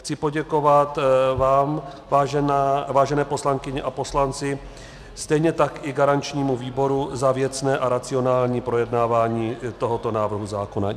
Chci poděkovat vám, vážené poslankyně a poslanci, stejně tak i garančnímu výboru za věcné a racionální projednávání tohoto návrhu zákona.